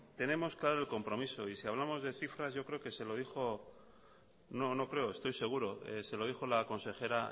tenemos claro el compromiso y si hablamos de cifras yo creo que se lo dijo no no creo estoy seguro se lo dijo la consejera